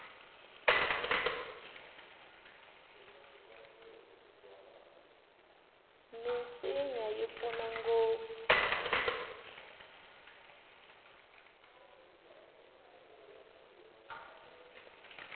minsinya yi pfuna ngopfu